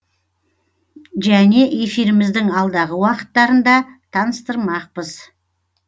және эфиріміздің алдағы уақыттарында таныстырмақпыз